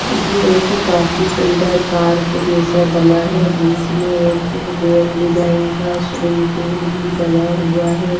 ये एक काफी सुंदर पार्क जैसा बना है बीच में एक गोल डिजाइन का स्विमिंग पूल भी बना हुआ है।